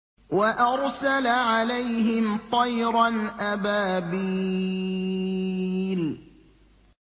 وَأَرْسَلَ عَلَيْهِمْ طَيْرًا أَبَابِيلَ